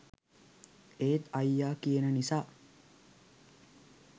ඒත් අයියා කියන නිසා